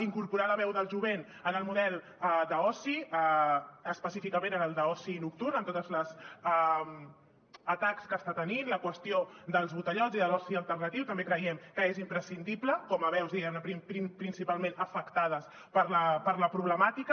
incorporar la veu del jovent en el model d’oci específicament en el d’oci nocturn amb tots els atacs que està tenint la qüestió dels botellots i de l’oci alternatiu també creiem que és imprescindible com a veus diguem ne principalment afectades per la problemàtica